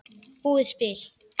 búið spil.